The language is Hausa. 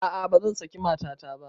A'a bazan saki matata ba